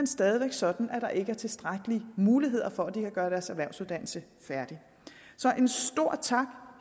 stadig væk sådan at der ikke er tilstrækkelige muligheder for at de kan gøre deres erhvervsuddannelse færdig så en stor tak